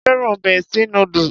Mo féràn bestie noodles.